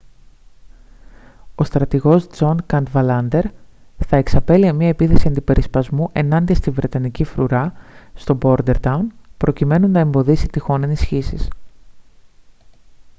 ο στρατηγός τζον καντβαλάντερ θα εξαπέλυε μια επίθεση αντιπερισπασμού ενάντια στη βρετανική φρουρά στο μπόρντερταουν προκειμένου να εμποδίσει τυχόν ενισχύσεις